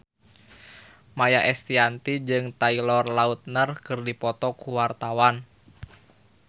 Maia Estianty jeung Taylor Lautner keur dipoto ku wartawan